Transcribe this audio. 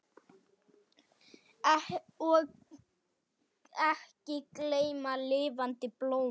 Og ekki gleyma lifandi blómum!